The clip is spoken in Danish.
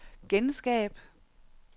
genskab